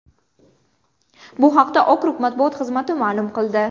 Bu haqda okrug matbuot xizmati ma’lum qildi.